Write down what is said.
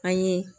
An ye